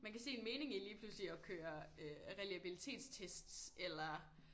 Man kan se en mening i lige pludselig at køre øh reliabilitetstests eller